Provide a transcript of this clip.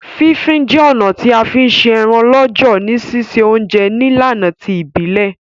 Fí fin je ọ̀nà ti a fi n se eran lọ́jọ̀ ni sise ounje nílànà ti ìbílẹ̀